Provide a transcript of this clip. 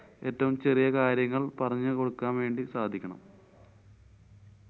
ഏറ്റവും ചെറിയ കാര്യങ്ങള്‍ പറഞ്ഞു കൊടുക്കാന്‍ വേണ്ടി സാധിക്കണം.